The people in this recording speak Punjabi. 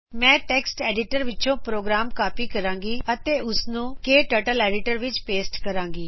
ਮੈਂ ਟੈਕਸਟ ਐਡੀਟਰ ਵਿੱਚੋ ਪ੍ਰੋਗਰਾਮ ਕਾਪੀ ਕਰੂੰਗੀ ਤੇ ਉਸਨੂੰ ਕਟਰਟਲ ਐਡੀਟਰ ਵਿੱਚ ਪੋਸਟ ਕਰੂੰਗੀ